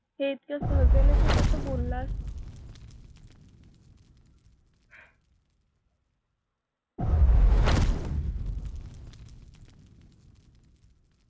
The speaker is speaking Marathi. हे इतक्या सहजतेनं तू कसं बोललास?